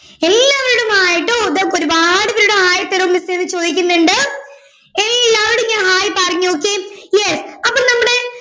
എല്ലാവരുടേം ആയിട്ടും മൊത്തം ഒരുപാടുപേരുടെ hai തരുവോ miss എ എന്ന് ചോയ്ക്കുന്നുണ്ട് എല്ലാവരോടും ഞാൻ hai പറഞ്ഞു okay yes അപ്പൊ നമ്മുടെ